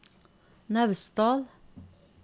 Naustdal